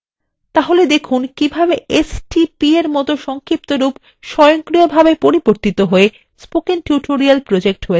তাহলে দেখুন কিভাবে stp এর মত একটি সংক্ষিপ্তরূপ স্বয়ংক্রিয়ভাবে পরিবর্তিত হয়ে spoken tutorial projectএ হয়ে যায়